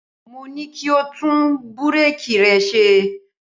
Mo ní kí o tún búréèkì rẹ ṣe.